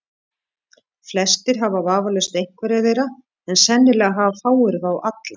Flestir hafa vafalaust einhverja þeirra, en sennilega hafa fáir þá alla.